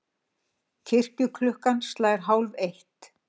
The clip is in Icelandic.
Kirkjuklukkan slær hálfeitt.